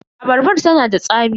Abarbar ta na da tsami.